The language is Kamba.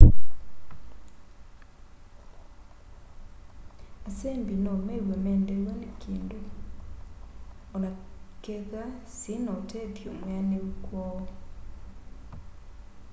asembi no mew'e mendeew'a ni kindu onakethwa syiina utethyo mwianiu kwoo